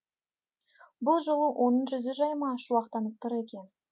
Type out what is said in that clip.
бұл жолы оның жүзі жайма шуақтанып тұр екен